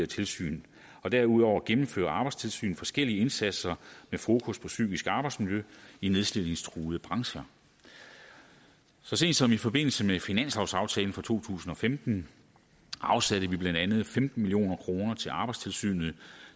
tilsyn og derudover gennemfører arbejdstilsynet forskellige indsatser med fokus på psykisk arbejdsmiljø i nedslidningstruede brancher så sent som i forbindelse med finanslovsaftalen for to tusind og femten afsatte vi blandt andet femten million kroner til arbejdstilsynet